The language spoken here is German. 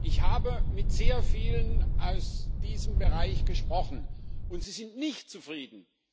Ich habe mit sehr vielen aus diesem Bereich gesprochen, und sie sind nicht zufrieden.